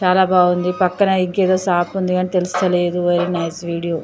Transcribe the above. చాలా బాగుంది పక్కన ఇంకా ఏదో షాప్ ఉంది. అది తెలుస్తలేదు వెరీ నైస్ వీడియో .